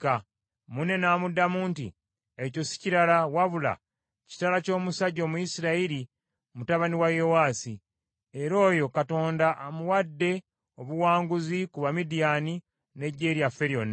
Munne n’amuddamu nti, “Ekyo si kirala wabula kitala ky’omusajja Omuyisirayiri Gidyoni mutabani wa Yowaasi. Era oyo Katonda amuwadde obuwanguzi ku ba Midiyaani n’eggye lyaffe lyonna.”